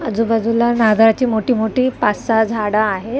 आजूबाजूला नारळाची मोठी मोठी पाच सहा झाडं आहेत.